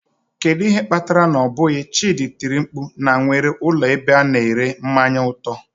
Kedu ihe kpatara na ọ bụghị, chidi tiri mkpu na nwere ụlọ ebe a na-ere mmanya atọ.